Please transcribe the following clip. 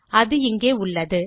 அது இங்கே உள்ளது